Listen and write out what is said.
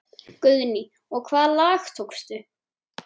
Guðný: Og hvaða lag tókstu?